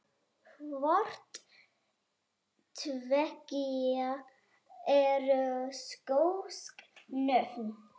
Hvort tveggja eru skosk nöfn.